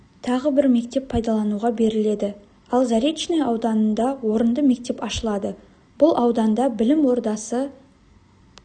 тағы бір мектеп пайдалануға беріледі ал заречный ауданында орынды мектеп ашылады бұл ауданда білім ордасы